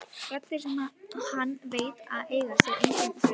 Raddir sem hann veit að eiga sér engin rök.